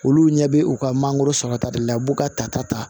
Olu ɲɛ bɛ u ka mangoro sɔrɔ ta de la u b'u ka tata ta